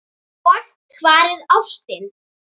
Og hvar er ástin?